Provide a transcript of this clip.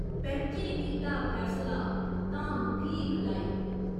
पैंचे कीता फैसला, धाम फ्ही खलाई।